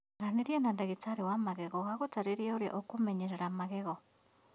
Aranĩria na ndagĩtarĩ wa magego agũtaare ũrĩa ũkũmenyerera magego